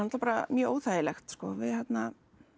bara mjög óþægilegt sko við þarna